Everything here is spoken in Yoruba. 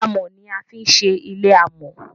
amò ní a fi ń ṣe ilé amò